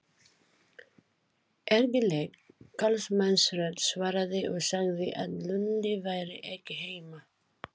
Ergileg karlmannsrödd svaraði og sagði að Lúlli væri ekki heima.